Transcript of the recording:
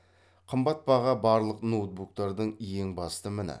қымбат баға барлық ноутбуктардың ең басты міні